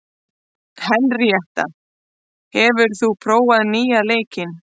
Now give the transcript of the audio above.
Henríetta, hefur þú prófað nýja leikinn?